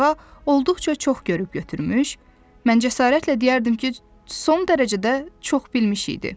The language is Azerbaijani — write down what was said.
Qarğa olduqca çox görüb götürmüş, mən cəsarətlə deyərdim ki, son dərəcədə çox bilmiş idi.